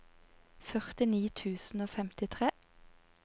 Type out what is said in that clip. førtini tusen og femtitre